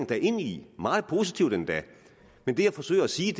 da ind i meget positivt endda men det jeg forsøger at sige